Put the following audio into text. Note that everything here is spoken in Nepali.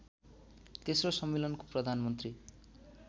तेस्रो सम्मेलनको प्रधानमन्त्री